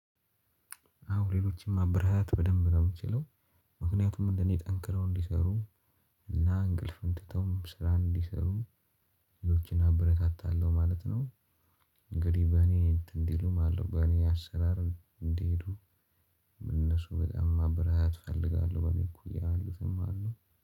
አሁን ሌሎችም ማበረታታት በደንብ ነው የምችለው ምክንያቱም እንደኔ ጠንክረው እንዲሰሩ እና አቅልፍም ትተው ስራ እንዲሰሩ ሌሎችን አበረታታለሁ ማለት ነው። እንግዲህ በእኔ እንትን እንዲሉም ማለት ነው። በኔ አሰራር እንዲሄዱ እነሱ በጣም ማበረታታት እፈልጋለሁ። በኔ በሚል እኮ ይላሉ ዝም አለው